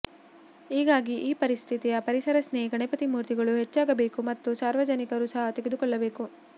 ಈಗಾಗಿ ಈ ರೀತಿಯ ಪರಿಸರ ಸ್ನೇಹಿ ಗಣಪತಿ ಮೂರ್ತಿಗಳು ಹೆಚ್ಚಾಗಬೇಕು ಮತ್ತು ಸಾರ್ವಜನಿಕರು ಸಹ ತೆಗೆದುಕೊಳ್ಳಬೇಕು